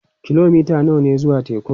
Kilomita nawa ne zuwa tekun?